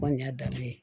Kɔni y'a danbe ye